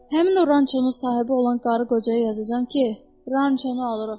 Həmin o rançonun sahibi olan qarı qocaya yazacam ki, rançonu alırıq.